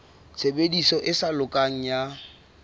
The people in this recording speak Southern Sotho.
tshebediso e sa lokang ya